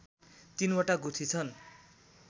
तीनवटा गुठी छन्